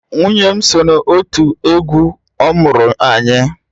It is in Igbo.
Nwunye m so n'òtù egwu ọmụrụ-anyị